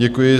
Děkuji.